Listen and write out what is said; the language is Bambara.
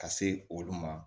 Ka se olu ma